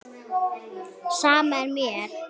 Sama er mér.